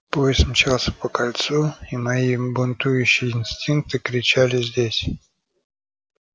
поезд мчался по кольцу и мои бунтующие инстинкты кричали здесь